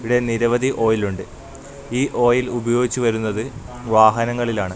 ഇവിടെ നിരവധി ഓയിൽ ഉണ്ട് ഈ ഓയിൽ ഉപയോഗിച്ച് വരുന്നത് വാഹനങ്ങളിലാണ്.